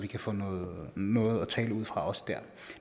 kan få noget noget at tale ud fra